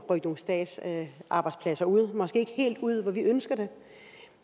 statslige arbejdspladser ud måske ikke helt ud hvor vi ønsker det